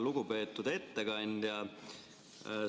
Lugupeetud ettekandja!